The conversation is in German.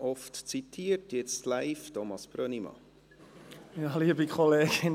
Oft zitiert, jetzt live: Thomas Brönnimann.